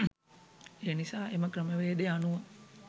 ඒනිසා එම ක්‍රමවේදය අනුව